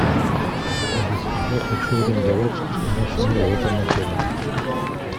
алиса я хочу арендовать машину в этом отеле